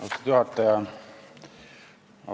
Austatud juhataja!